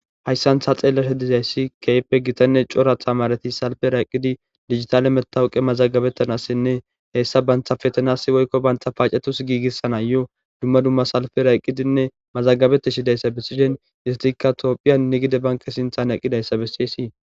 hayssan ta xeellasha dizayssi keyppe gitanne coratha maareti salfe rayqqidi digitale metawuqe mazagabettanassinne heessa banthafetanas woykko bantha paacetus giigissana yo dumma dumma salfera eqqidinne mazagabeteshi dayssa bessishen histikka tophiyan negide banke sinthan eqqidayssa bessiyssii